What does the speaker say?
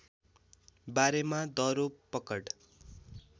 बारेमा दरो पकड